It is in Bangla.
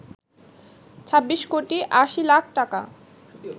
২৬ কোটি ৮০ লাখ টাকা